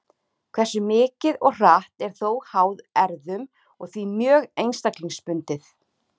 Hversu mikið og hratt er þó háð erfðum og því mjög einstaklingsbundið.